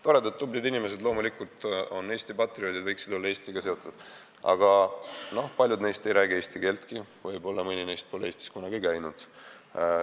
Nad on toredad tublid inimesed, kes on loomulikult Eesti patrioodid ja võiksid olla Eestiga seotud, aga paljud neist ei räägi eesti keeltki, mõni neist pole võib-olla Eestis kunagi käinud.